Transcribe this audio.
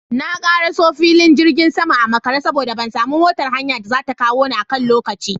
Na karaso filin jirgin sama a makare saboda ban samu motar haya da zata kawo ni a kan lokaci